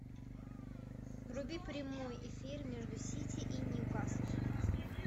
вруби прямой эфир между сити и ньюкаслом